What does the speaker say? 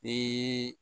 Ni